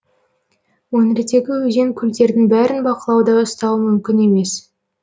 өңірдегі өзен көлдердің бәрін бақылауда ұстау мүмкін емес